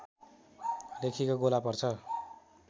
लेखिएको गोला पर्छ